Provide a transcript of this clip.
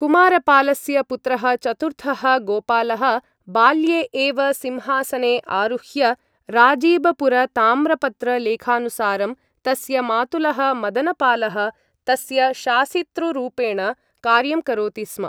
कुमारपालस्य पुत्रः चतुर्थः गोपालः बाल्ये एव सिंहासने आरुह्य राजीबपुरताम्रपत्रलेखानुसारं तस्य मातुलः मदनपालः तस्य शासितृरूपेण कार्यं करोति स्म।